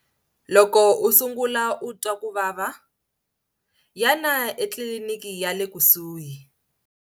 Loko u sungula u twa ku vava, yana ekiliniki ya le kusuhi.